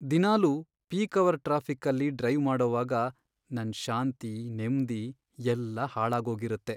ದಿನಾಲು peak hour ಟ್ರಾಫಿಕ್ಕಲ್ಲಿ drive ಮಾಡೋವಾಗ ನನ್ ಶಾಂತಿ, ನೆಮ್ದಿ ಎಲ್ಲ ಹಾಳಾಗೋಗಿರತ್ತೆ.